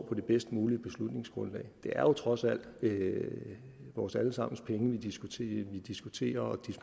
på det bedst mulige beslutningsgrundlag det er jo trods alt vores alle sammens penge vi diskuterer vi diskuterer